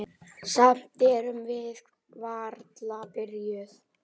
Samt erum við varla byrjuð.